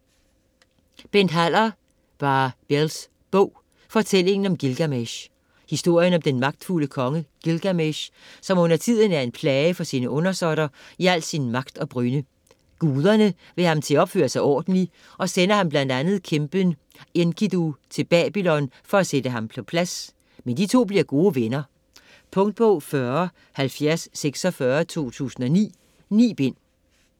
Haller, Bent: Ba-bels bog: fortællingen om Gilgamesh Historien om den magtfulde konge Gilgamesh, som undertiden er en plage for sine undersåtter i al sin magt og brynde. Guderne vil have ham til at opføre sig ordentlig, og sender ham bl.a. kæmpen Enkidu til Babylon for at sætte ham på plads, men de to bliver gode venner. Punktbog 407046 2009. 9 bind.